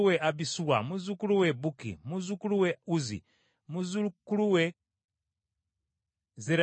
muzzukulu we Bukki, muzzukulu we Uzzi, muzzukulu we Zerakiya,